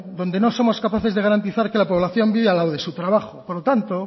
donde no somos capaces de garantizar que la población viva al lado de su trabajo por lo tanto